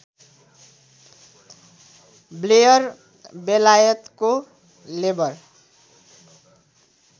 Blair बेलायतको labour